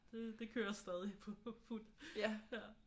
Det det kører stadig på fuld ja